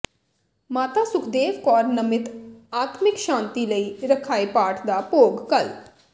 ਮਾਤਾ ਸੁਖਦੇਵ ਕੌਰ ਨਮਿਤ ਆਤਮਿਕ ਸ਼ਾਂਤੀ ਲਈ ਰੱਖਾਏ ਪਾਠ ਦਾ ਭੋਗ ਕੱਲ੍ਹ